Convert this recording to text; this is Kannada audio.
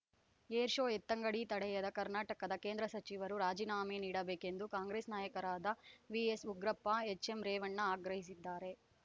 ಏರ್‌ ಶೋ ಎತ್ತಂಗಡಿ ತಡೆಯದ ಕರ್ನಾಟಕದ ಕೇಂದ್ರ ಸಚಿವರು ರಾಜೀನಾಮೆ ನೀಡಬೇಕೆಂದು ಕಾಂಗ್ರೆಸ್‌ ನಾಯಕರಾದ ವಿಎಸ್‌ಉಗ್ರಪ್ಪ ಎಚ್‌ಎಂರೇವಣ್ಣ ಆಗ್ರಹಿಸಿದ್ದಾರೆ